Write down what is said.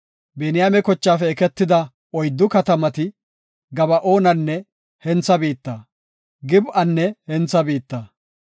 Biniyaame kochaafe eketida oyddu katamati, Gaba7oonanne hentha biitta, Gib7anne hentha biitta,